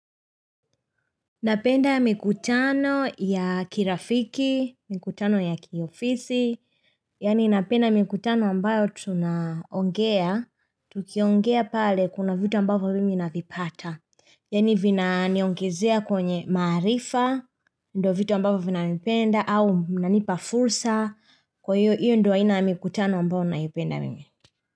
Napenda mikutano ya kirafiki, mikutano ya kiofisi, yaani napenda mikutano ambayo tunaongea, tukiongea pale kuna vitu ambavo mimi navipata, yaani vinaniongezea kwenye maarifa, ndo vitu ambavyo vinanipenda au vinanipa fursa, kwa hiyo iyo ndo aina ya mikutano ambayo naipenda mimi.